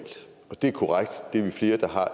det er korrekt at det er vi flere der har